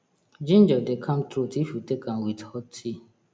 ginger dey calm throat if you take am with hot tea